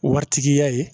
Waritigiya ye